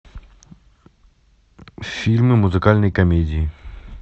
фильмы музыкальной комедии